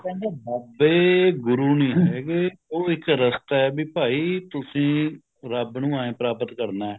ਕਹਿੰਦੇ ਬਾਬੇ ਗੁਰੂ ਨਹੀਂ ਹੈਗੇ ਉਹ ਇੱਕ ਰਸਤਾ ਹੈ ਵੀ ਭਾਈ ਤੁਸੀਂ ਰੱਬ ਨੂੰ ਐਵੇ ਪ੍ਰਪਾਤ ਕਰਨਾ ਹੈ